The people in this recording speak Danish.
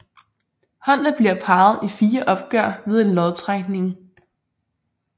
Holdene bliver parret i fire opgør ved en lodtrækning